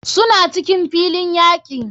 Suna cikin filin yaki.